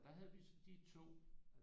Og der havde vi de 2